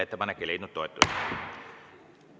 Ettepanek ei leidnud toetust.